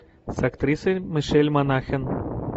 с актрисой мишель монахэн